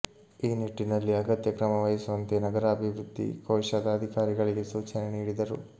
ಈ ನಿಟ್ಟಿನಲ್ಲಿ ಅಗತ್ಯ ಕ್ರಮವಹಿಸುವಂತೆ ನಗರಾಭಿವೃದ್ಧಿ ಕೋಶದ ಅಧಿಕಾರಿಗಳಿಗೆ ಸೂಚನೆ ನೀಡಿದರು